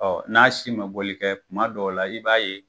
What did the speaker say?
n'a si bɛ boli kɛ kuma dɔw la i b'a ye,